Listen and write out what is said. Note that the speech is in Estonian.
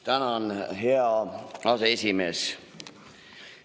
Tänan, hea aseesimees!